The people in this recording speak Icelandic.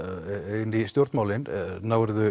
inn í stjórnmálin